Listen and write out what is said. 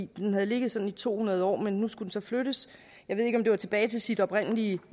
den havde ligget sådan i to hundrede år men nu skulle den så flyttes jeg ved ikke om det var tilbage til sit oprindelige